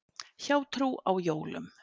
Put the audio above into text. Hjátrú á jólum.